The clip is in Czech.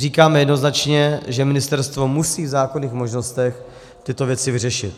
Říkáme jednoznačně, že ministerstvo musí v zákonných možnostech tyto věci vyřešit.